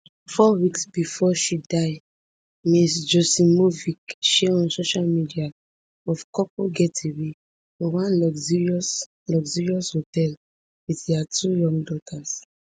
four weeks bifor she die ms joksimovic share on social media of couple getaway for one luxurious luxurious hotel wit dia two young daughters